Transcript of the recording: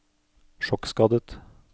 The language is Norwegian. sjokkskadet